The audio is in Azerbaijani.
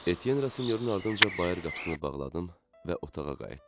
Etyenrasinyorun ardınca bayır qapısını bağladım və otağa qayıtdım.